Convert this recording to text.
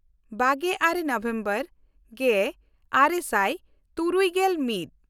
ᱵᱟᱜᱮᱼᱟᱨᱮ November ᱜᱮᱼᱟᱨᱮ ᱥᱟᱭ ᱛᱩᱨᱩᱭᱜᱮᱞ ᱢᱤᱫ